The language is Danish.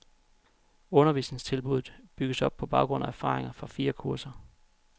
Undervisningstilbuddet bygges op på baggrund af erfaringer fra fire kurser.